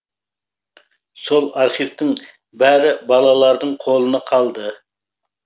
сол архивтің бәрі балалардың қолына қалды